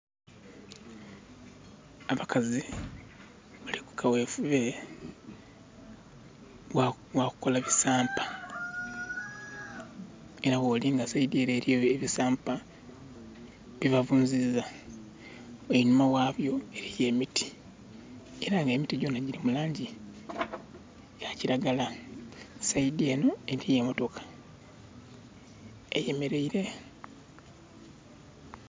Abakazi bali ku kawefube gha kukola bisampa. Era bwolinga saidi ele eliyo ebisampa, byebavunziza. Enhuma ghabyo eliyo emiti, era nga emiti gyona gili mu langi ya kiragala. Saidi enho eliyo emotoka, eyemeleire.